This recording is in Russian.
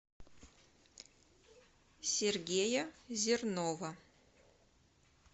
сергея зернова